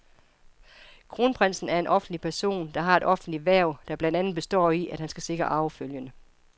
Kronprinsen er en offentlig person, der har et offentligt hverv, der blandt andet består i, at han skal sikre arvefølgen.